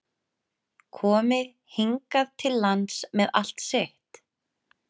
Komi hingað til lands með allt sitt?